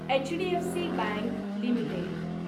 HDFC bank limited